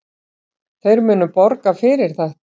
Þeir munu borga fyrir þetta.